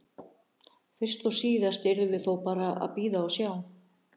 Fyrst og síðast yrðum við þó bara að bíða og sjá.